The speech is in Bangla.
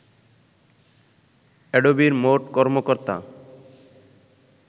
অ্যাডোবির মোট কর্মকর্তা